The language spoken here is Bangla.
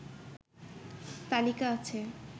তালিকা আছে